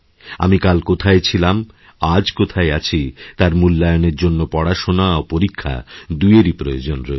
আমি কালকোথায় ছিলাম আজ কোথায় আছি তার মূল্যায়নের জন্য পড়াশোনা ও পরীক্ষা দুইয়েরই প্রয়োজনরয়েছে